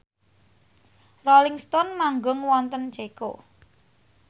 Rolling Stone manggung wonten Ceko